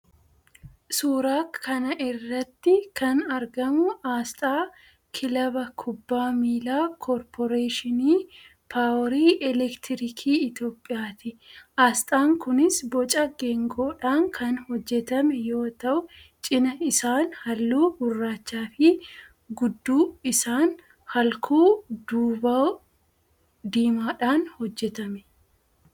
Suuraa kana irratti kan argamu aasxaa kilaba kubbaa miilaa "Korporeeshinii Paaworii Elektirikii Itiyoophiyaa"ti. Aasxaan kunis boca geengoodhaan kan hojjetame yoo ta'u, cina isaan halluu gurraachaafi gudduu isaan halkuu duubaa diimaadhaan hojjetame.